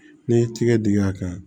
N'i ye tigɛ dingɛ kɛ